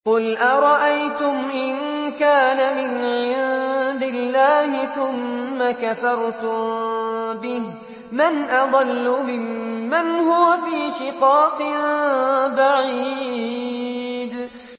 قُلْ أَرَأَيْتُمْ إِن كَانَ مِنْ عِندِ اللَّهِ ثُمَّ كَفَرْتُم بِهِ مَنْ أَضَلُّ مِمَّنْ هُوَ فِي شِقَاقٍ بَعِيدٍ